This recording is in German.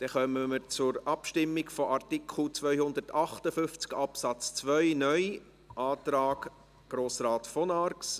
Dann kommen wir zur Abstimmung zu Artikel 258 Absatz 2 (neu), Antrag Grossrat von Arx.